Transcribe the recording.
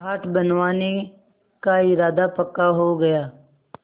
घाट बनवाने का इरादा पक्का हो गया